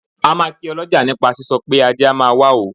A máa kí ọlọ́jà nípa sísọ pé ajé a máa wá o.